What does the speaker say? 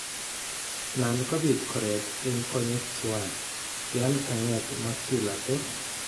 Nan kobit koreet en konyek tuwan yan kanget macula ko